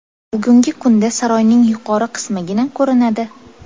Bugungi kunda saroyning yuqori qismigina ko‘rinadi.